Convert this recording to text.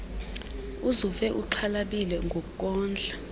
uzuve uxhalabile ngokondla